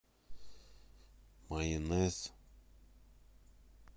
майонез